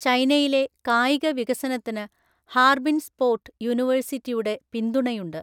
ചൈനയിലെ കായിക വികസനത്തിന് ഹാർബിൻ സ്‌പോർട് യൂണിവേഴ്‌സിറ്റിയുടെ പിന്തുണയുണ്ട്.